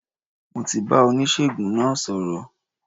Mo ti bá oníṣègùn náà sọ̀rọ̀